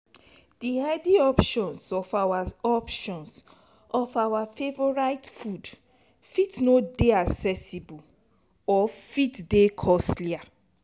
the healthy options of our options of our favourite food fit no dey accessible or fit dey costlier